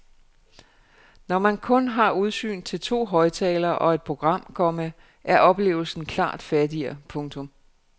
Når man kun har udsyn til to højtaler og et program, komma er oplevelsen klart fattigere. punktum